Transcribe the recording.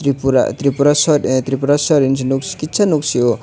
tripura tripureswar hinwi kisa nuksio.